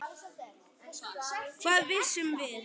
Hvað vissum við?